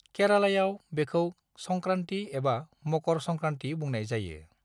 केरालायाव, बेखौ संक्रान्ति एबा मकर संक्रान्ति बुंनाय जायो।